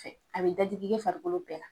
Fɛ, a bɛ dadigi kɛ farikolo bɛɛ la